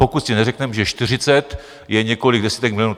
Pokud si neřekneme, že 40 je několik desítek milionů.